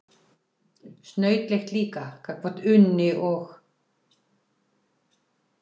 Snautlegt líka gagnvart Unni og